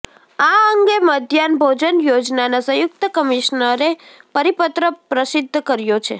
આ અંગે મધ્યાહ્ન ભોજન યોજનાના સંયુક્ત કમિશનરે પરિપત્ર પ્રસિદ્ધ કર્યો છે